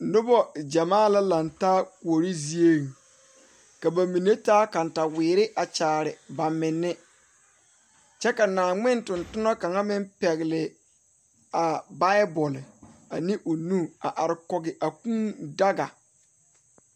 Noba gyamaa la laŋe taa kuori zie ka ba mine taa katawiiri a kyaare ba mine kyɛ ka Naaŋmen toŋ tona kaŋ meŋ pɛgele a Bible ane o nu a are kɔge a kʋʋ daga